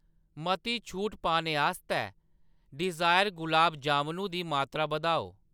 मती छूट पाने आस्तै डिज़ायर गलाब जामनू दी मात्तरा बधाओ